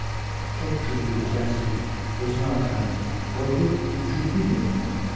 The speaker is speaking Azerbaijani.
Çox güclü, cəsur, özünə arxayın, qorxu, hürkü bilməyən balıqdır.